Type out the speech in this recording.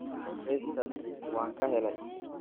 heestaas waan ka helay